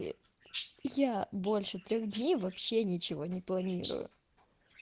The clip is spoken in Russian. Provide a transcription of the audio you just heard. я больше трёх дней вообще ничего не планирую